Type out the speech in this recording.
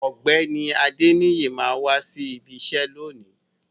Ògbéni Adeniyi ma wa sí ìbi iṣẹ lóni.